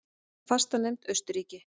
Fastanefnd Austurríki